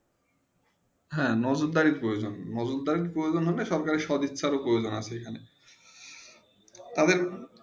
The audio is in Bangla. হেঁ মোজোদারি প্রজন মোজদারী প্রজন হলে সব সরকারে সব ইচ্ছা উপরে তাদের